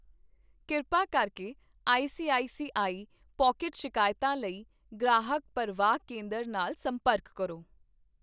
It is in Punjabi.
ਕਿਰਪਾ ਕਰਕੇ ਆਈਸੀਆਈਸੀਆਈ ਪੌਕਿਟ ਸ਼ਿਕਾਇਤਾਂ ਲਈ ਗ੍ਰਾਹਕ ਪਰਵਾਹ ਕੇਂਦਰ ਨਾਲ ਸੰਪਰਕ ਕਰੋ।